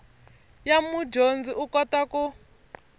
ya mudyondzi u kota ku